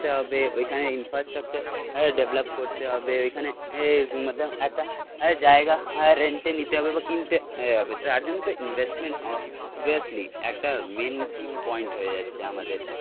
তে হবে ওইখানে ইনফ্রাস্ট্রাকচার ডেভেলপ করতে হবে ওইখানে মতলব একটা জায়গা রেন্টে নিতে হবে বা কিনতে হবে তার জন্য তো ইনভেস্টমেন্ট অবভিয়াসলি একটা মেন পয়েন্ট হয়ে যাচ্ছে আমাদের